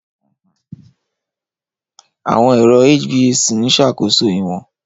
Àwọn ẹ̀rọ HVAC ń ṣàkóso ìwọ̀n